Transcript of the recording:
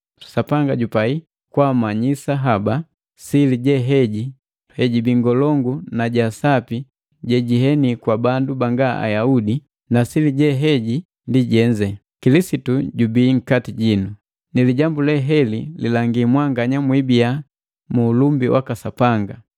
Sapanga jupai kwaamanyisa haba sili je heji hejibii ngolongu na ja sapi jejieni kwa bandu banga Ayaudi, na sili jeheji ndi jenze. Kilisitu jubii nkati jinu, ni lijambu le heli lilangi mwanganya mwibiya mu ulumbi waka Sapanga.